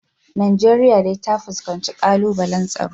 Najeriya dai ta fuskanci kalubalen tsaro